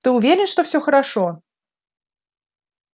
ты уверен что все хорошо